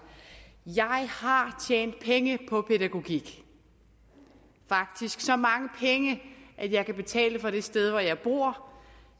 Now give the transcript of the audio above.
jeg har tjent penge på pædagogik faktisk så mange penge at jeg kan betale for det sted hvor jeg bor